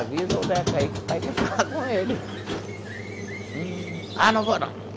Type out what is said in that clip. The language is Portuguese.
Avisa o Neca aí, que pai quer falar com ele. Hum. Ah, não vou não.